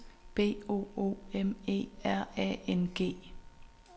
B O O M E R A N G